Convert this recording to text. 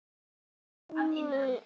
Hafði alltaf búið þar.